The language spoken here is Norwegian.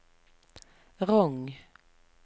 Rong